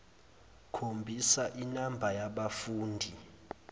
khombisa inamba yabafundi